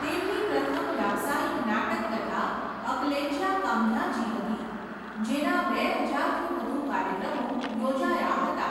તેમની પ્રથમ વ્યવસાયિક નાટક કથા અકલેચ્યા કાંધ્યાચી હતી, જેના બે હજારથી વધુ કાર્યક્રમો યોજાયા હતા.